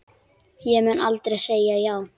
Ég mun aldrei segja já.